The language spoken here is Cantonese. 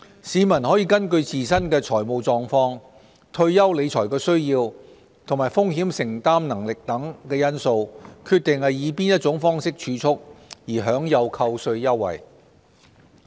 市民可根據自身的財務狀況、退休理財需要和風險承擔能力等因素，決定以何種方式儲蓄，而享有扣稅優惠。